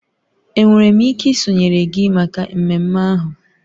Enwere m ike isonyere gị maka mmemme ahụ?